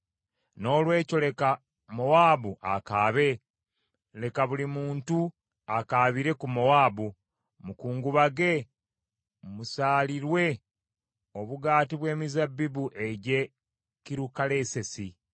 Noolwekyo leka Mowaabu akaabe, leka buli muntu akaabire ku Mowaabu. Mukungubage, musaalirwe obugaati bw’emizabbibu egy’e Kirukalesesi.